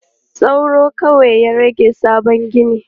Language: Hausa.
Sauro kawai ya rage sabon ginin.